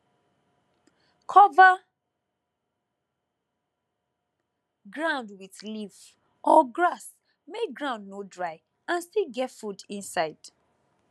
cover ground with leaf or grass make ground no dry and still get food inside